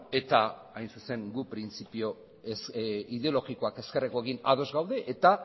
eta hain zuzen guk printzipio ez ideologikoak ezkerrekoekin ados gaude eta